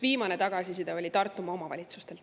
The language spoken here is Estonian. Viimane selline tagasiside oli Tartumaa omavalitsustelt.